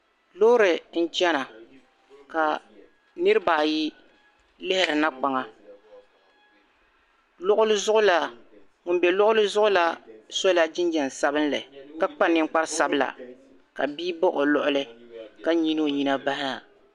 loori n-chena ka niriba ayi lihiri na kpaŋa ŋun m-be luɣili zuɣu la sola jinjɛm sabinlli ka kpa niŋkpar'sabila ka bia baɣi o luɣili ka nyili o nyina m-bahi na